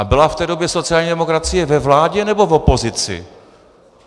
A byla v té době sociálně demokracie ve vládě, nebo v opozici?